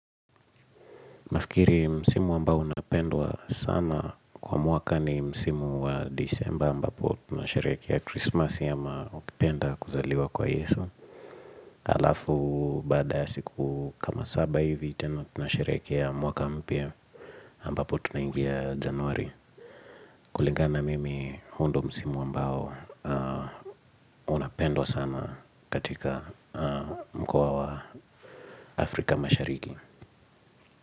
Nafikiri msimu ambao unapendwa sana kwa mwaka ni msimu wa December ambapo tunasharekia Christmas ama ukipenda kuzaliwa kwa Yesu. Alafu baada siku kama saba hivi tena tunasharekia mwaka mpya ambapo tunangia januari. Kulingana mimi hundo msimu ambao unapendwa sana katika mkua wa Afrika mashariki.